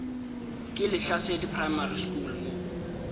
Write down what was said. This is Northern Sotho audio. ke lehlasedi primary school mo